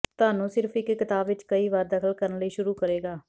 ਤੁਹਾਨੂੰ ਸਿਰਫ਼ ਇੱਕ ਕਿਤਾਬ ਵਿੱਚ ਕਈ ਵਾਰ ਦਖ਼ਲ ਕਰਨ ਲਈ ਸ਼ੁਰੂ ਕਰੇਗਾ